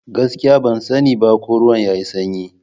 Gaskiya! Ban sani ba ko ruwan yayi sanyi.